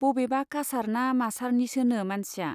बबेबा कासार ना मासारनिसोनो मानसिया।